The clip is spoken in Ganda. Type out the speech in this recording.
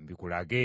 mbikulage.